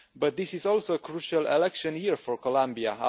But this is also a crucial election year for Colombia.